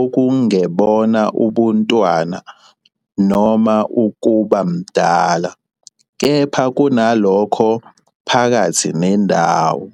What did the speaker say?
okungebona ubuntwana noma ukuba mdala, kepha kunalokho phakathi nendawo."